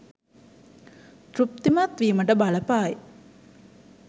තෘප්තිමත් වීමට බලපායි.